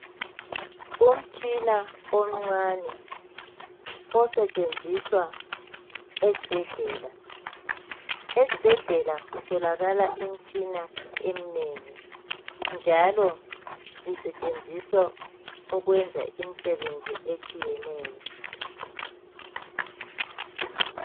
Umtshina omncane osetshenziswa esibhedlela ,esibhedlela kutholakala imitshina eminengi njalo isetshenziswa ukwenza imisebenzi etshiyeneyo .